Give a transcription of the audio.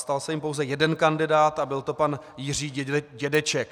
Stal se jím pouze jeden kandidát a byl to pan Jiří Dědeček.